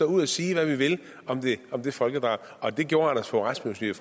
ud og sige hvad vi vil om det folkedrab og det gjorde anders fogh rasmussen